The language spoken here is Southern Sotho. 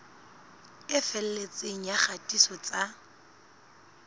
e felletseng ya kgatiso tsa